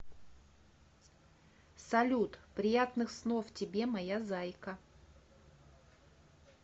салют приятных снов тебе моя зайка